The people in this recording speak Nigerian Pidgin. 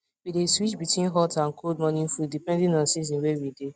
we dae switch between hot and cold morning foods depending on the season wae we dae